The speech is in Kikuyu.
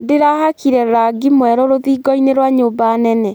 Ndĩrahakire rangi mwerũ rũthingo-inĩ rwa nyũmba nene